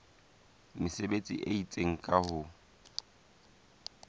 mesebetsi e itseng ka ho